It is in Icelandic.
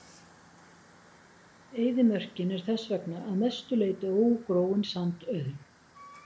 Eyðimörkin er þess vegna að mestu leyti ógróin sandauðn.